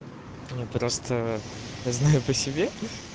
просто знаю по себе